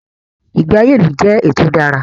Ìgbé ayé ilu jẹ́ èyí tí o dára.